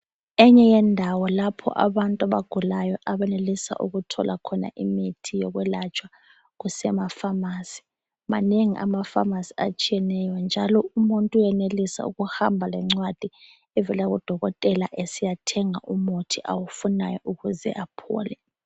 Enye yendawo lapho abantu abagulayo abenelisa ukuthola khona imithi yokwelatshwa kusemafamasi. Manengi amafamasi atshiyeneyo njalo umuntu uyenelisa ukuhamba lencwadi evela kudokotela esiyathenga umuthi awufunayo ukuze aphole.